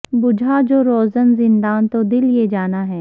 بجھا جو روزن زنداں تو دل یہ جانا ہے